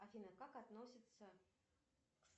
афина как относится